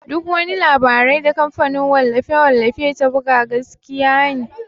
Duk wani labarai da kamfanin wallafe-wallafe ta buga gaskiya ne.